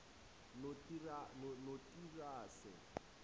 notirase